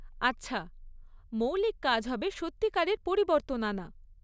আচ্ছা, মৌলিক কাজ হবে সত্যিকারের পরিবর্তন আনা।